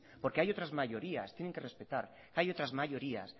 porque hay otras mayorías y tienen que respetar hay otras mayorías